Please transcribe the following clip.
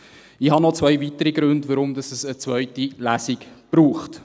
Ich habe noch zwei weitere Gründe, warum es eine zweite Lesung braucht.